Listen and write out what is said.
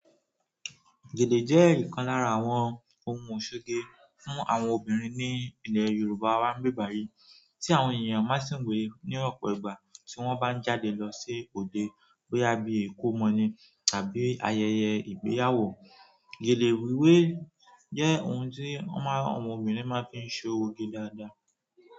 Gèlè jẹ́ ìkan lára àwọn ohun ìṣoge fún àwọn obìnrin ní ilẹ̀ Yoruba wa n'bibayi tí àwọn èèyàn máa ń sìn wé ní ọ̀pọ̀ ìgbà tí wọ́n bá ń jáde lọ sí òde, bóyá bí ìkómọ ni tàbí ayẹyẹ ìgbéyàwó. Gele wiwe je ohun ti àwọn obìnrin ma fi n soge dáadáa.